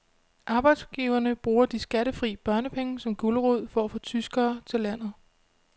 Arbejdsgiverne bruger de skattefri børnepenge som gulerod for at få tyskere til landet.